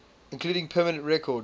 including permanent record